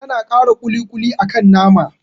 Tana kara ƙuli-ƙuli akan nama